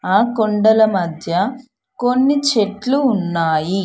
ఆ కొండల మధ్య కొన్ని చెట్లు ఉన్నాయి.